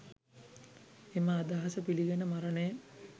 එම අදහස පිළිගෙන මරණය